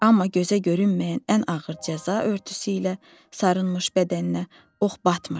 Amma gözə görünməyən ən ağır cəza örtüsü ilə sarınmış bədəninə ox batmırdı.